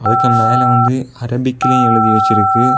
அதுக்கு மேல வந்து அரபிக்ளியும் எழுதி வச்சுருக்கு.